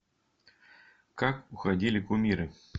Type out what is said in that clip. как уходили кумиры